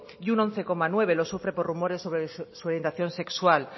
y un once coma nueve lo sufre por rumores sobre su orientación sexual